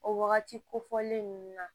O wagati kofɔlen ninnu na